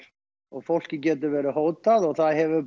og fólki getur verið hótað og það hefur